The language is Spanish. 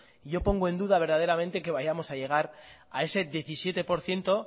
yo pongo en duda verdaderamente que vayamos a llegar a ese diecisiete por ciento